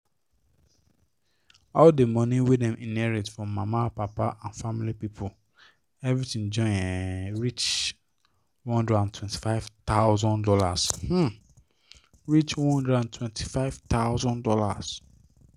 all the money wey dem inherit from mama papa and family people everything join um reach $125000 um reach $125000